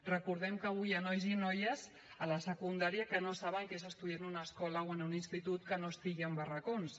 recordem que avui hi ha nois i noies a la secundària que no saben què és estudiar en una escola o en un institut que no estigui en barracons